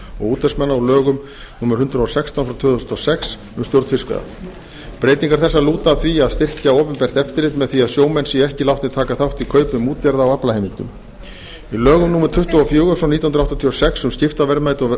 útvegsmanna á lögum númer hundrað og sextán tvö þúsund og sex um stjórn fiskveiða breytingar þessar lúta að því að styrkja opinbert eftirlit með því að sjómenn séu ekki látnir taka þátt í kaupum útgerða á aflaheimildum með lögum númer tuttugu og fjögur nítján hundruð áttatíu og sex um skiptaverðmæti og